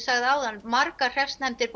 sagt áður margar hreppsnefndir